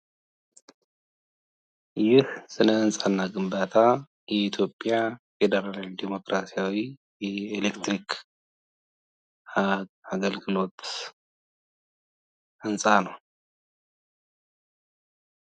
ይህ የስነ-ሕንጻ እና ግንባታ የኢትዮጵያ ፌዴራላዊ ዴሞክራሲያዊ ኤሌክትሪክ ሀይል አገልግሎት ህንጻ ነው።